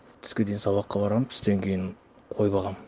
түске дейін сабаққа барамын түстен кейін қой бағамын